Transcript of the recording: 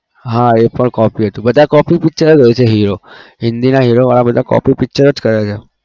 હા એ પણ copy હતું બધા copy picture હોય છે hero હિન્દી ના hero વાળા બધા copy picture જ કરે છે.